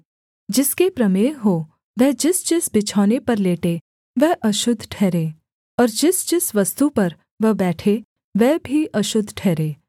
जिसके प्रमेह हो वह जिसजिस बिछौने पर लेटे वह अशुद्ध ठहरे और जिसजिस वस्तु पर वह बैठे वह भी अशुद्ध ठहरे